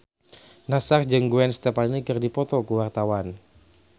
Nassar jeung Gwen Stefani keur dipoto ku wartawan